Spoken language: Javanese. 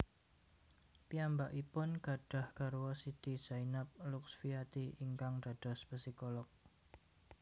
Piyambakipun gadhah garwa Siti Zainab Luxfiati ingkang dados psikolog